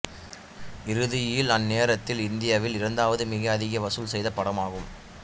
இறுதியில் அந்நேரத்தில் இந்தியாவின் இரண்டாவது மிக அதிக வசூல் செய்த படமானது